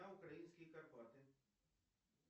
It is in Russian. а украинские карпаты